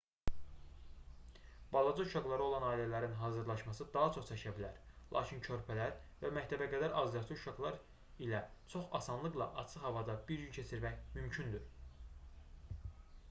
balaca uşaqları olan ailələrin hazırlaşması daha çox çəkə bilər lakin körpələr və məktəbəqədər azyaşlı uşaqlar ilə çox asanlıqla açıq havada bir gün keçirmək mümkündür